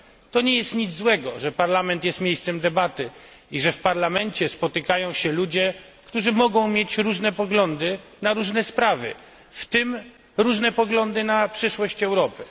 To nie jest nic złego, że Parlament jest miejscem debaty i że w Parlamencie spotykają się ludzie, którzy mogą mieć różne poglądy na różne sprawy, w tym różne poglądy na przyszłość Europy.